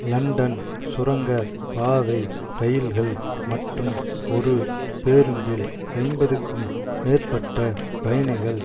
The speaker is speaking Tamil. லண்டன் சுரங்க பாதை இரயில்கள் மற்றும் ஒரு பேருந்தில் ஐம்பதுக்கும் மேற்பட்ட பயணிகள்